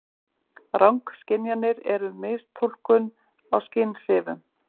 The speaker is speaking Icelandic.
Rangskynjanir eru mistúlkun á skynhrifum.